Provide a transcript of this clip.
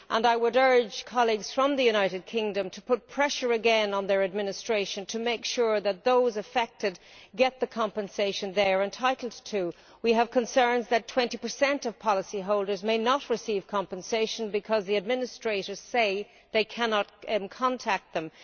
I would urge colleagues from the United Kingdom to put pressure again on their administration to make sure that those affected get the compensation they are entitled to. We have concerns that 20 of policyholders may not receive compensation because the administrators say they cannot contact them.